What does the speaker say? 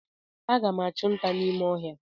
Aga m achụ nta n’ime ọhịa echi